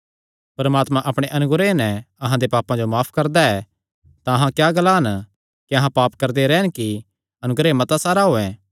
परमात्मा अपणे अनुग्रह नैं अहां दे पापां जो माफ करदा ऐ तां अहां क्या ग्लान क्या अहां पाप करदे रैह़न कि अनुग्रह मता सारा होयैं